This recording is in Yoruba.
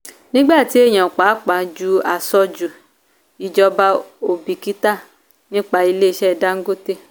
nígbà tí èèyàn pàápàá jù aṣojú ìjọba ò bìkítà nípa ilé ìṣe dangote.